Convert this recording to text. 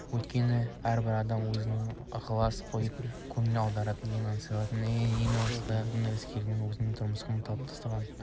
өйткені әрбір адам өзіне ықылас қойып көңіл аударуды аңсайды ал әскер болса өзінің тырмысқан талпынысы үшін